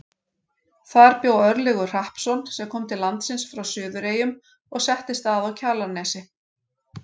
Þar bjó Örlygur Hrappsson sem kom til landsins frá Suðureyjum og settist að á Kjalarnesi.